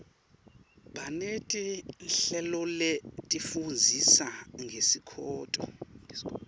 baneti nhleloletifundzisa ngesikoto